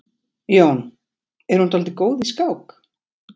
Jón: Er hún dálítið góð í skák?